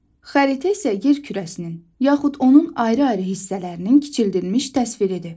Xəritə isə yer kürəsinin, yaxud onun ayrı-ayrı hissələrinin kiçildilmiş təsviridir.